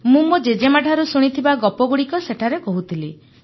ମୁଁ ମୋ ଜେଜେମାଙ୍କଠୁ ଶୁଣିଥିବା ଗପଗୁଡ଼ିକ ସେଠାରେ କହୁଥିଲି